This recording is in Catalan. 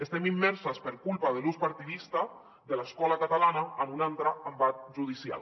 estem immerses per culpa de l’ús partidista de l’escola catalana en un altre embat judicial